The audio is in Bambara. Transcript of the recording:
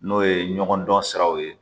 N'o ye ɲɔgɔn dɔn siraw ye